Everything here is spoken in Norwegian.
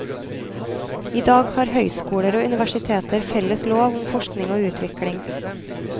I dag har høyskoler og universiteter felles lov om forskning og utvikling.